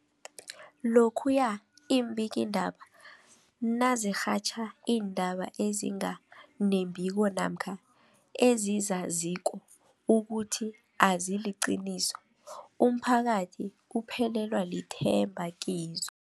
Lokhuya iimbikiindaba nazirhatjha iindaba ezinga nembiko namkha ezizaziko ukuthi aziliqiniso, umphakathi uphelelwa lithemba kizo.